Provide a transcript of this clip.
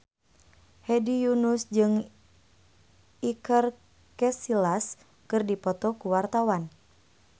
Hedi Yunus jeung Iker Casillas keur dipoto ku wartawan